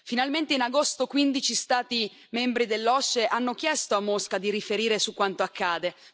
Finalmente in agosto 15 Stati membri dell'OSCE hanno chiesto a Mosca di riferire su quanto accade.